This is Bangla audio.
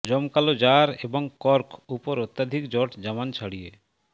জমকালো জার এবং কর্ক উপর অত্যধিক জট জামান ছড়িয়ে